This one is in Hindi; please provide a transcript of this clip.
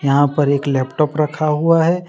यहां पर एक लैपटॉप रखा हुआ है।